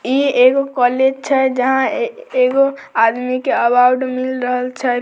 ई एगो कॉलेज छै जहां एगो आदमी के अवार्ड मिल रहल छै।